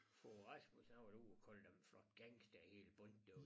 Fogh Rasmussen han var da ude og kalde dem en flok gangstere hele bundet